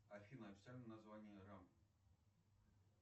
афина официальное название рамп